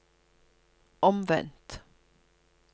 omvendt